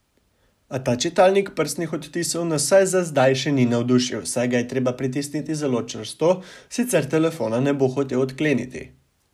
A ta čitalnik prstnih odtisov nas vsaj za zdaj še ni navdušil, saj ga je treba pritisniti zelo čvrsto, sicer telefona ne bo hotel odkleniti.